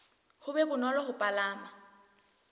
ho be bonolo ho palama